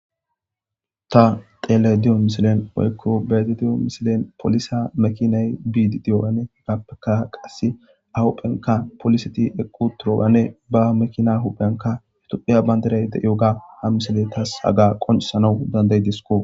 Ta xellayida diiyo missillen woykko be'ayda diiy missilen polise makinay biidi diyoganne appeka qasse a huphphen poliseti eqqi uttiyoganne ba makina huphphenka tophphiya banddiray deiyoga ha missiley tas haga qonccisanaw dandaidesiko.